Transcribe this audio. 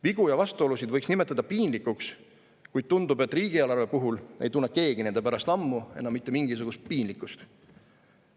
Vigu ja vastuolusid võiks nimetada piinlikuks, kuid tundub, et riigieelarve puhul ei tunne keegi nende pärast juba ammu enam mitte mingisugust piinlikkust.